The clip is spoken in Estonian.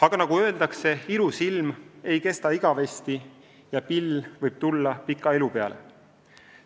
Aga nagu öeldakse, ilus ilm ei kesta igavesti ja pill võib tulla pika ilu peale.